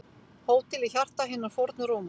Hótel í hjarta hinnar fornu Rómar